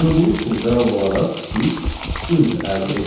Gördüyünüz kimi cavab olaraq biz int əldə etdik.